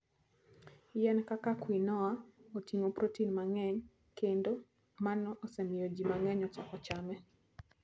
Yien kaka quinoa oting'o protein mang'eny kendo mano osemiyo ji mang'eny ochako chame.